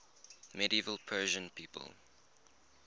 medieval persian people